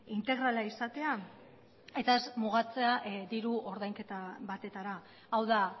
integrala izatea eta ez mugatzea diru ordainketa batetara hau da